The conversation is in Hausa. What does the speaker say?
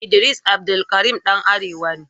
Idris Abdulkarim ɗan arewa ne.